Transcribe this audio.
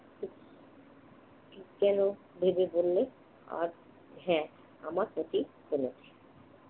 কেন ভেবে বললে? আজ হ্যাঁ, আমার ক্ষতি হলো।